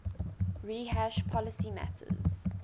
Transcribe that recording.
rehash policy matters